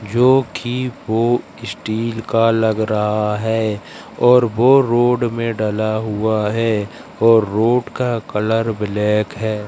जो कि वो स्टील का लग रहा है और वो रोड में डला हुआ है और रोड का कलर ब्लैक है।